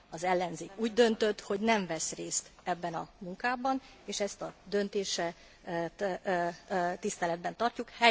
Az ellenzék úgy döntött, hogy nem vesz részt ebben a munkában és ezt a döntést tiszteletben tartjuk.